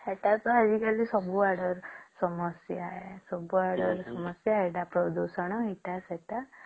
ତାର ପରେଏଟା ତ ସବୁ ଆଡେ ସମସ୍ୟା ସବୁ ଆଡେ ସମସ୍ୟା ସବୁ ଆଡେ ପ୍ରଦୂଷଣ ଏଟା ସେଟା